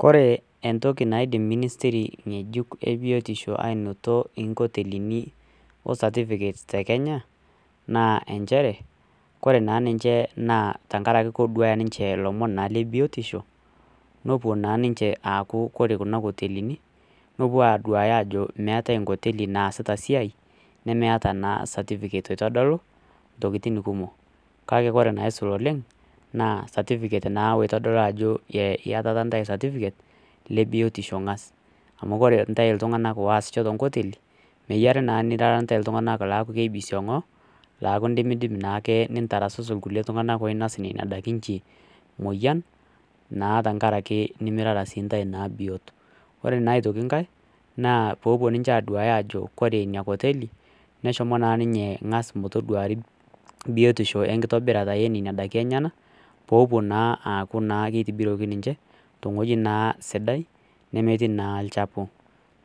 Kore entoki naidim ministiri ng'ejuk aanotie onkotelini cetifiket te kenya naa enchere kore duo tenkaraki keidim neduaaya ninche ilomon lebiotisho nepuo naa ninche aaku kore kuna kotelini nepuo aaduya ajo meetai nkoteli naasita siai nemeta naa satipiket eitodolu intokitin kumok kake ore enaisul oleng naa eitodolu ajo iyatata intasi satifiket lebiotisho amu kore intae iltung'anak looaasisho tenkoteli meyiare naa niatata intae iltung'anak oinosisho aaku indimidim naake nintarasusu kulie tung'anak loonya nena daiki inchi moyian tenkaraki naa nimirara intae biot ore naa aitoki nkae naa poopuo ninche aaduaya ajo kore ina koteli neshomo naa ninye ng'as metoduari biotisho enkitobirata enina daiki enyanak poopuo naa aaku keitobiroki ninche tewueji naa sidai nemetii naa inchafu